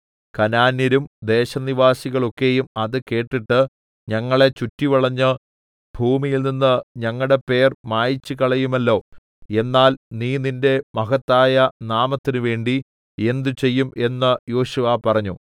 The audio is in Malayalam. കനാന്യരും ദേശനിവാസികൾ ഒക്കെയും അത് കേട്ടിട്ട് ഞങ്ങളെ ചുറ്റിവളഞ്ഞ് ഭൂമിയിൽനിന്ന് ഞങ്ങളുടെ പേർ മായിച്ചുകളയുമല്ലോ എന്നാൽ നീ നിന്റെ മഹത്തായ നാമത്തിന്നുവേണ്ടി എന്തുചെയ്യും എന്ന് യോശുവ പറഞ്ഞു